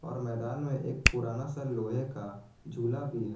और मैदान में एक पुराना सा लोहे का झूला भी है।